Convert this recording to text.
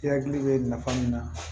I hakili bɛ nafa min na